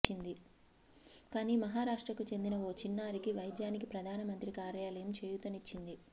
కాని మహారాష్ట్రకు చెందిన ఓ చిన్నారికి వైద్యానికి ప్రధానమంత్రి కార్యాలయం చేయూతనిచ్చింది